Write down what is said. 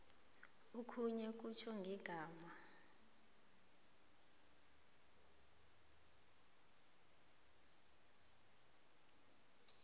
okhunye kutjho ngegama